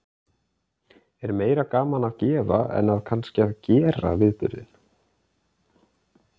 Er meira gaman að gefa en að kannski að gera viðburðinn?